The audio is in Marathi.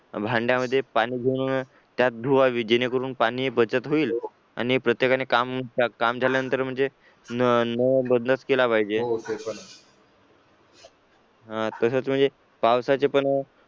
भांड्यामध्ये पाणी घेऊन त्यात धुवावे जेणेकरून पाणी बचत होईल आणि प्रत्येकाने काम झाल्यानंतर म्हणजे नळ बंदच केला पाहिजे तसेच म्हणजे पावसाचे पण